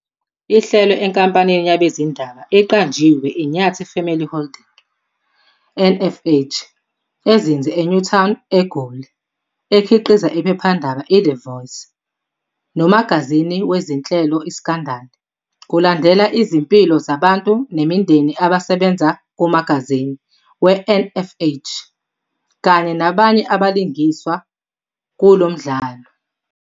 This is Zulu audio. ihlelwe enkampanini yabezindaba eqanjiwe iNyathi Family Holdings, NFH, ezinze eNewtown, eGoli, ekhiqiza iphephandaba "iThe Voice" nomagazini wezinhlebo, "iScandal". Kulandela izimpilo zabantu nemindeni abasebenza kumagazini weNFH kanye nabanye abalingiswa kulo mdlalo.